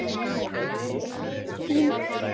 Þín, Árný.